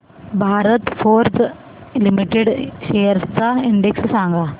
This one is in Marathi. भारत फोर्ज लिमिटेड शेअर्स चा इंडेक्स सांगा